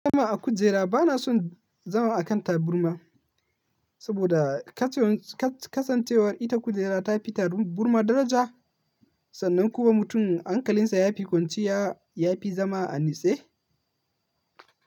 Zama a kujera bana son zama a kan taburma, saboda kasancewar ita kujera ta fi taburma daraja sannan kuma mutum hankalinsa ya fi kwanciya, ya fi zama a nitse.